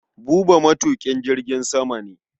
Buba matuƙin jirgin sama ne.